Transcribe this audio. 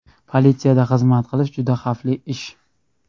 Politsiyada xizmat qilish juda xavfli ish.